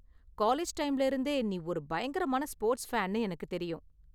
College டைம்ல இருந்தே நீ ஒரு பயங்கரமான ஸ்போர்ட்ஸ் ஃபேன்னு எனக்கு தெரியும்.